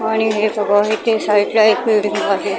आणि हे सगळं इथे साईडला एक बिल्डींग आहे .